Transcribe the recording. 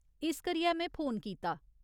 इस करियै में फोन कीता।